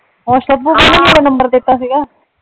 ਹੋਰ ਸ਼ਭੂ ਕਹਿੰਦੀ ਮੇਰਾ ਨੰਬਰ ਦਿੱਤਾ ਸੀਗਾ।